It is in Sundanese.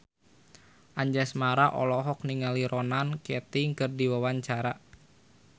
Anjasmara olohok ningali Ronan Keating keur diwawancara